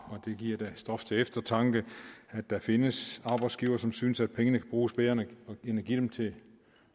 det giver da stof til eftertanke at der findes arbejdsgivere som synes at pengene kan bruges bedre end at give dem til